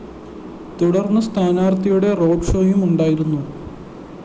തുടര്‍ന്ന്‌ സ്ഥാനാര്‍ത്ഥിയുടെ റോഡ്‌ ഷോയും ഉണ്ടായിരുന്നു